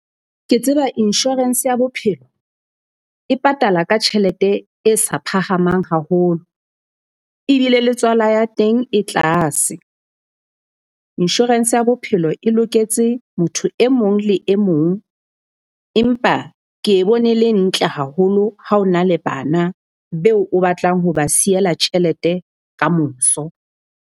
Ke tseba insurance ya bophelo e patala ka tjhelete e sa phahamang haholo, ebile le tswala ya teng e tlase. Insurance ya bophelo e loketse motho e mong le e mong. Empa ke e bone e le ntle haholo ha o na le bana beo o batlang ho ba siela tjhelete kamoso.